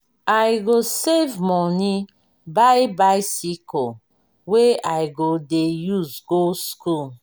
i go save moni buy bicycle wey i go dey use go skool.